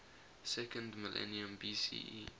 second millennium bce